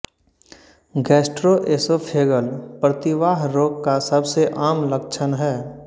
gastroesophageal प्रतिवाह रोग का सबसै आम लक्षण है